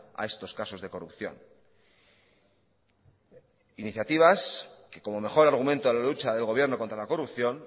a estos casos de corrupción iniciativas que como mejor argumento a la lucha del gobierno contra la corrupción